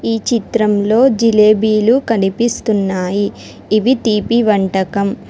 ఈ చిత్రంలో జిలేబీలు కనిపిస్తున్నాయి ఇవి తీపి వంటకం.